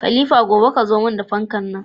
Khalifa gobe kayo mun fankar nan